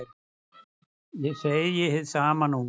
Ég segi hið sama nú.